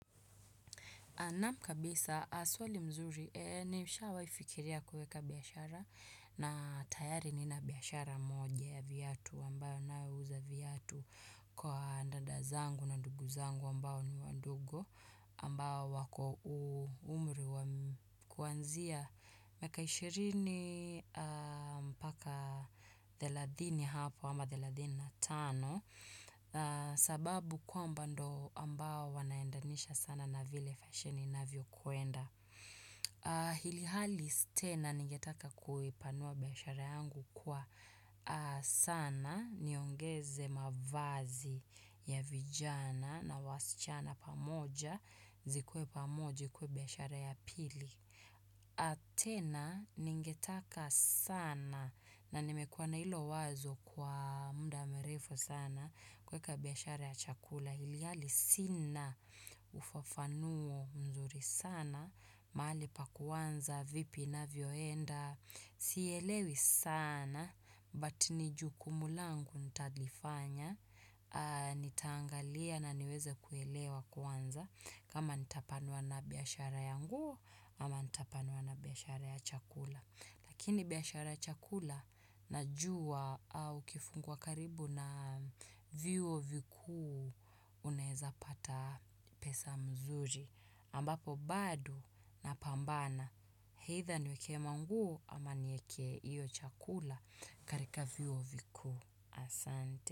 Naam kabisa swali mzuri, nishawaifikiria kueka biashara na tayari nina biashara moja ya viatu ambayo nayouza viatu kwa dada zangu na ndugu zangu ambao ni wadogo ambao wako umri kuanzia miaka ishirini mpaka thelathini hapo ama thelathini na tano sababu kwamba ndio ambao wanaendanisha sana na vile fashion inavyokwenda Ilhali tena ningetaka kuipanua biashara yangu kwa sana niongeze mavazi ya vijana na wasichana pamoja zikuwe pamoja ikuwe biashara ya pili tena ningetaka sana na nimekuwa na ilo wazo kwa muda mrefu sana kuweka biashara ya chakula ilhali sina ufafanuo mzuri sana, mahali pa kuanza, vipi inavyoenda, sielewi sana, but nijukumu langu nitalifanya, nitaangalia na niweze kuelewa kuanza, kama nitapanuwa na biashara ya nguo, ama nitapanuwa na biashara ya chakula. Lakini biashara ya chakula najua ukifunguwa karibu na vyuo vikuu unaeza pata pesa mzuri ambapo bado napambana eitha niweke manguo ama nieke iyo chakula katika vyuo vikuu asante.